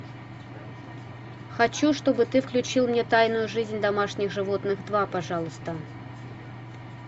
хочу чтобы ты включил мне тайную жизнь домашних животных два пожалуйста